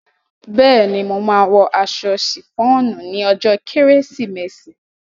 Bẹ́ẹ̀ ni, mo máa wọ aṣọ sìfọ́ọ̀nù ní ọjọ́ kérésìmesì.